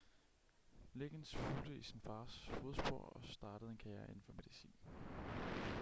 liggins fulgte i sin fars fodspor og startede en karriere inden for medicin